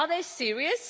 Are they serious?